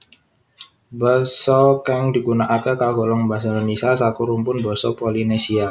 Basa kang digunakake kagolong basa Indonesia saka rumpun basa Polinesia